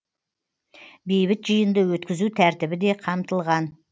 бейбіт жиынды өткізу тәртібі де қамтылған